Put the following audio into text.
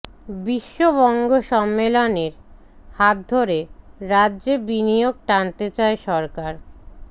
বিশ্ব বঙ্গ সম্মেলনের হাত ধরে রাজ্যে বিনিয়োগ টানতে চায় সরকার